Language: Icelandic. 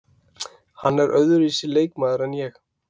Hann er öðruvísi leikmaður en ég.